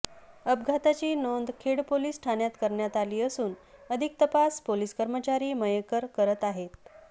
अपघाताची नोंद खेड पोलिस ठाण्यात करण्यात आली असून अधिक तपास पोलिस कर्मचारी मयेकर करत आहेत